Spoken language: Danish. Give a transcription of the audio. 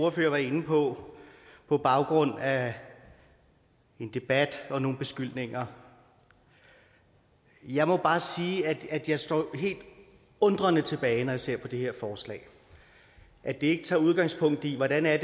ordfører var inde på på baggrund af en debat og nogle beskyldninger jeg må bare sige at jeg står helt undrende tilbage når jeg ser på det her forslag at det ikke tager udgangspunkt i hvordan det er